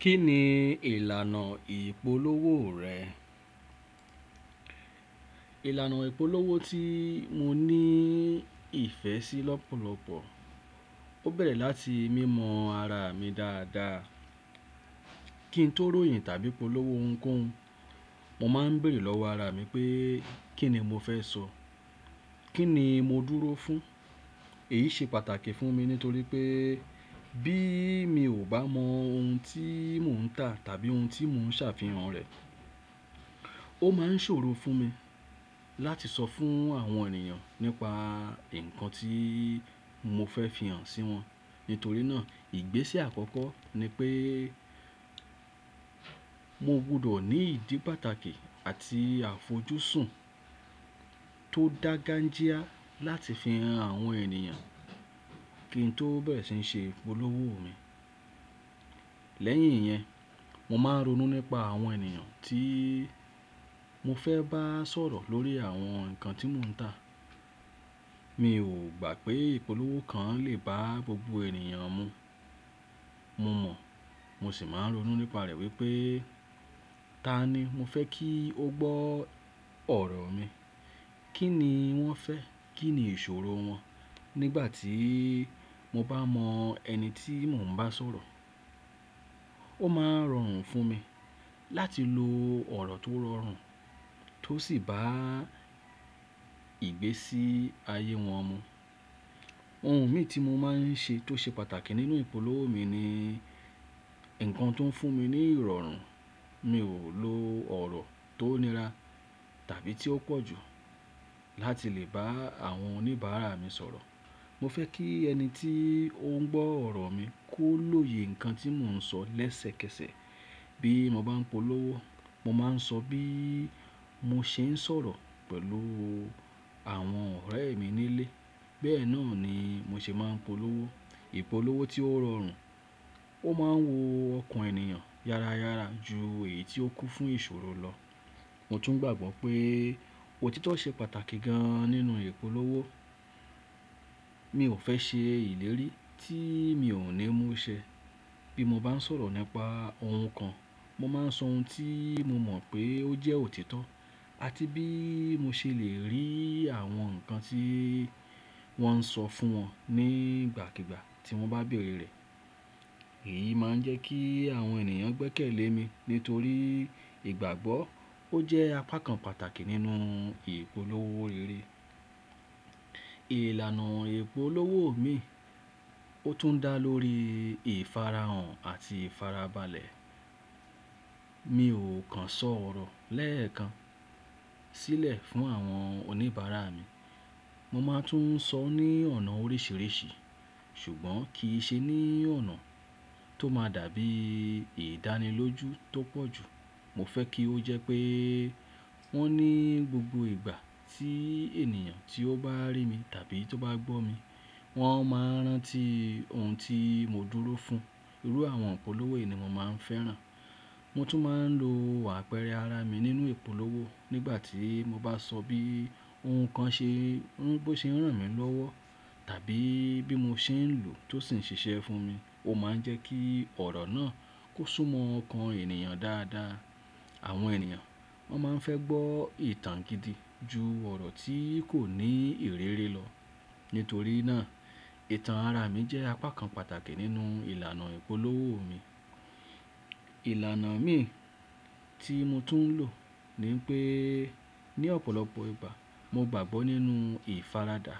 Kí ni ìlànà ìpolówó rẹ? Ìlànà ìpolówó tí mo ní ìfẹ́ sí lọ́pọ̀lọpọ̀, ó bẹ̀rẹ̀ láti mímọ ara mi dáadáa. Kí n tó ròyìn tàbí polówó ohunkóhun, mo máa ń béèrè lọ́wọ́ ara mi pé kí ni mo fẹ́ sọ? Kí ni mo dúró fún? Èyí ṣe pàtàkì fún mi nítorí pé bí mi ò bá mọ ohun tí mò ń tà tàbí ohun tí mò ń ṣàfihàn rẹ̀, ó máa ń ṣòro fún mi láti sọ fún àwọn ènìyàn nípa ǹkan tí mo fẹ́ fi hàn sí wọn. Nítorí náà, ìgbésẹ̀ àkọ́kọ́ ni pé mo gbọdọ̀ ní ìdí pàtàkì àti àfojúsùn tó dáa gan-jíá láti fi hàn àwọn ènìyàn kí n tó bẹ̀rẹ̀ síí ṣe ìpolówó mi. Lẹ́yìn iyẹn, mo máa ń ronú nípa àwọn ènìyàn tí mo fẹ́ bá sọ̀rọ̀ lórí àwọn ǹkan tí mò ń tà. Mi ò gbà pé ìpolówó kan lè bá gbogbo ènìyàn mu. Mo mọ̀, mo sì máa ń ronú nípa rẹ̀ wípé ta ni mo fẹ́ kí ó gbọ́ ọ̀rọ̀ mi? Kí ni wón fẹ́? Kí ni ìṣòro wọn? Nígbà tí mo bá mọ ẹni tí mò ń bá sọ̀rọ̀, ó máa rọrùn fún mi láti lo ọ̀rọ̀ tó rọrùn tó sì bá ìgbésí ayé wọn mu. Ohun mì tí mo máa ń rí ṣe tó ṣe pàtàkì nínú ìpolówó mi ni ǹkan tó ń fún mi ní ìrọ̀rùn. Mi ò lo ọ̀rọ̀ tó nira tàbí tí ó pọ̀ jù láti lè bá àwọn oníbàárà mi sọ̀rọ̀. Mo fẹ́ kí ẹni tí ó ń gbọ́ ọ̀rọ̀ mi kó lóye ǹkan tí mò ń sọ lẹ́sẹ̀kẹsẹ̀ bí mo bá ń polówó. Mo máa ń sọ bí mo ṣe ń sọ̀rọ̀ pẹ̀lú àwọn ọ̀rẹ́ mi nílé, bẹ́ẹ̀ náà ni mo ṣe máa ń polówó. Ìpolówó tí ó rọrùn, ó máa ń wu ọkàn ènìyàn yáráyára ju èyí tí ó kún fún ìṣòro lọ. Mo tún gbàgbọ́ pé òtítọ́ ṣe pàtàkì gan nínú ìpolówó. Mi ò fẹ́ ṣe ìlérí tí mi ò ní mú ṣẹ. Bí mo bá ń sọ̀rọ̀ nípa ohun kan, mo máa ń sọ ohun tí mo mọ̀ pé ó jẹ́ òtítọ́ àti bí mo ṣe lè rí àwọn ǹkan tí wón ń sọ fún wọn nígbàkígbà tí wọ́n bá bèèrè rẹ̀. Èyí máa ń jẹ́ kí àwọn ènìyàn gbẹ́kẹ̀lé mi nítorí ìgbàgbọ́ ó jẹ́ apá kan pàtàkì nínú ìpolówó rere. Ìlànà ìpolówó mi, ó tún dá lórí ìfarahàn àti ìfarabalẹ̀. Mi ò kan sọ ọ̀rọ̀ lẹ́ẹ̀kan sílẹ̀ fún àwọn oníbàárà mi. Mo máa tún ń sọ ní ọ̀nà oríṣìíríṣìí ṣùgbọ́n kì í ṣe ní ọ̀nà tó máa dàbí ìdánilójú tó pọ̀ jù. Mo fẹ́ kí ó jẹ́ pé wọ́n ní gbogbo ìgbà tí ènìyàn tí ó bá rí mi tàbí tó bá gbọ́ mi, wọ́n máa rántí ohun tí mo dúró fún. Irú àwọn ìpolówó yìí ni mo máa ń fẹ́ràn. Mo tún máa ń lo àpẹrẹ ara mi nínú ìpolówó nígbà tí mo bá sọ bí ohun kan ṣe ń, bó ṣe ń ràn mí lọ́wọ́ tàbí bí mo ṣe ń lòó tó sì ń ṣiṣẹ́ fún mi. Ó máa ń jẹ́ kí ọ̀rọ̀ náà kó súnmọ́ ọkàn ènìyàn dáadáa. Àwọn ènìyàn, wọ́n máa ń fẹ́ gbọ́ ìtàn gidi ju ọ̀rọ̀ tí kò ní ìrírí lọ. Nítorí náà, ìtàn ara mi jẹ́ apá kan pàtàkì nínú ìlànà ìpolówó mi. Ìlànà míì tí mo tún ń lò ni pé ní ọ̀pọ̀lọpọ̀ ìgbà mo gbàgbọ́ nínú ìfaradà.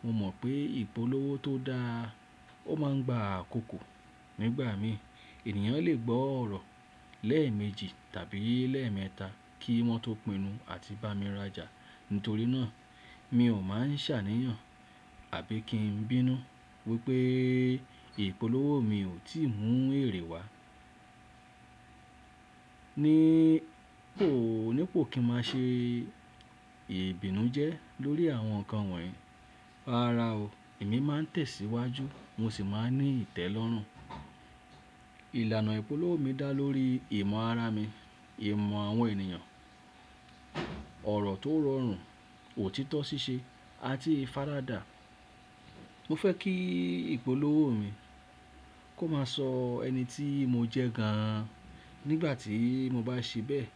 Mo mọ̀ pé ìpolówó tó dáa ó máa ń gba àkokò. Nígbà míì, ènìyàn lè gbọ́ ọ̀rọ̀ lẹ́ẹ̀mejì tàbí lẹ́ẹ̀mẹta kí wọ́n tó pinnu àti bá mi rajà. Nítorí náà, mi ò máa ń ṣàníyàn àbí kí n bínú wípé ìpolówó mi ò tíì mú èrè wá. Níí pò, ní pò kí n máa ṣe ìbínújẹ́ lórí àwọn ǹkan wọ̀nyí. Rárá o, èmí máa ń tẹ̀síwájú, mo sì máa ń ní ìtẹ́lọ́rùn. Ìlànà ìpolówó mi dá lórí ìmọ̀ ara mi, ìmọ̀ àwọn ènìyàn, ọ̀rọ̀ tó rọrùn, òtítọ́ ṣíṣe àti ìfaradà. Mo fẹ́ kí ìpolówó mi kó máa sọ ẹni tí mo jẹ́ gan nígbà tí mo bá ṣe bẹ́ẹ̀.